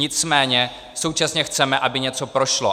Nicméně současně chceme, aby něco prošlo.